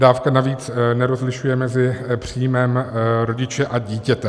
Dávka navíc nerozlišuje mezi příjmem rodiče a dítěte.